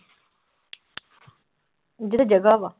ਜਿਹੜੀ ਜਗ੍ਹਾ ਵਾ।